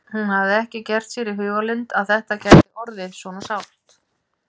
Hún hafði ekki gert sér í hugarlund að þetta gæti orðið svona sárt.